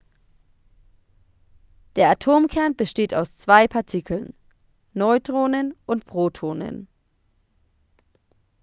der atomkern besteht aus zwei partikeln neutronen und protonen